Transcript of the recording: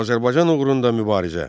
Azərbaycan uğrunda mübarizə.